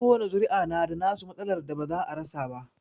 Kowani zuri'a na da nasu matsalar da ba za a rasa ba.